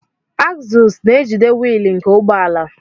Agzụls na-ejide wiili nke ụgbọala.